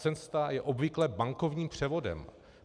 Cesta je obvykle bankovním převodem.